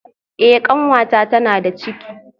Eh kanwata tana da ciki